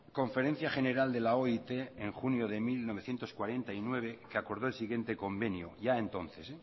conferencia general de la oit en junio de mil novecientos cuarenta y nueve se acordó el siguiente convenio ya entonces